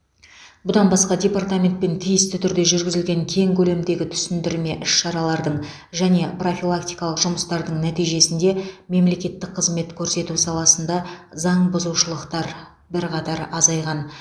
бұдан басқа департаментпен тиісті түрде жүргізілген кең көлемдегі түсіндірме іс шаралардың және профилактикалық жұмыстардың нәтижесінде мемлекеттік қызмет көрсету саласында заңбұзушылықтар бірқатар азайған